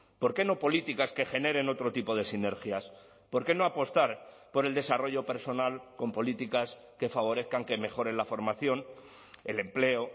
por qué no políticas que generen otro tipo de sinergias por qué no apostar por el desarrollo personal con políticas que favorezcan que mejoren la formación el empleo